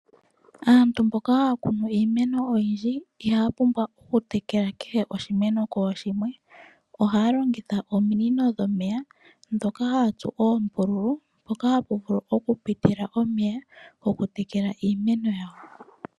Aantu mboka haa kunu iimeno oyindji ihaya pumbwa oku tekela kehe oshimeno kooshimwe ohaa longitha oominino dhomeya dhoka haa tsu oombululu mpoka hapu vulu oku pitila omeya goku tekela iimeno yawo.